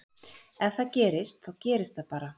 Ef það gerist þá gerist það bara.